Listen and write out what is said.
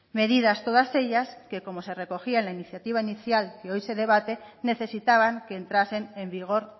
medidas todas ellas que como se recogía en la iniciativa inicial que hoy se debate necesitaban que entrasen en vigor